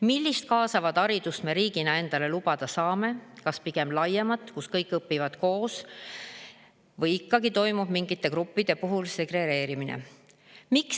Millist kaasavat haridust me riigina endale lubada saame: kas pigem laiemat, kus kõik õpivad koos, või ikkagi toimub mingite gruppide puhul segregeerimine?